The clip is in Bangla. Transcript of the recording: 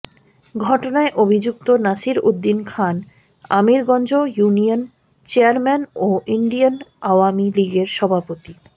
ঘটনায় অভিযুক্ত নাসির উদ্দিন খান আমিরগঞ্জ ইউনিয়ন চেয়ারম্যান ও ইউনিয়ন আওয়ামী লীগের সভাপতি